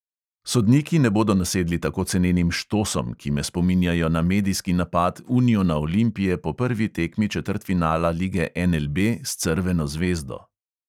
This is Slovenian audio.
Sodniki ne bodo nasedli tako cenenim "štosom", ki me spominjajo na medijski napad uniona olimpije po prvi tekmi četrtfinala lige NLB s crveno zvezdo.